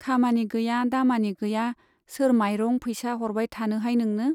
खामानि गैया दामानि गैया सोर माइरं फैसा हरबाय थानोहाय नोंनो ?